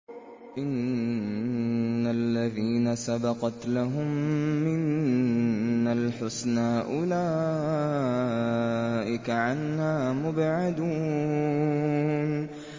إِنَّ الَّذِينَ سَبَقَتْ لَهُم مِّنَّا الْحُسْنَىٰ أُولَٰئِكَ عَنْهَا مُبْعَدُونَ